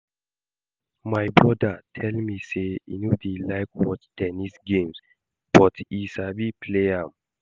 My broda tell me say he no dey like watch ten nis games but he sabi play am